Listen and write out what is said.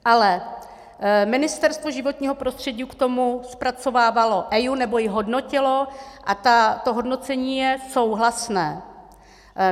Ale Ministerstvo životního prostředí k tomu zpracovávalo EIA, nebo ji hodnotilo, a to hodnocení je souhlasné.